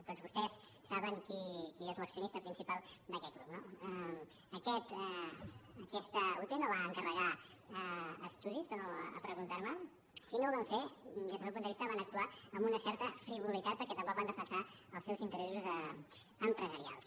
tots vostès saben qui és l’accionista principal d’aquest grup no aquesta ute no va encarregar estudis torno a preguntar me si no ho van fer des del meu punt de vista van actuar amb una certa frivolitat perquè tampoc van defensar els seus interessos empresarials